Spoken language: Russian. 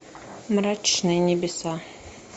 мрачные небеса